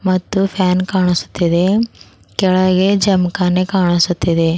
ಮತ್ತು ಫ್ಯಾನ್ ಕಾಣಿಸುತ್ತಿದೆ ಕೆಳಗೆ ಜಾಮ್ ಖಾನೆ ಕಾಣಿಸುತ್ತಿದೆ.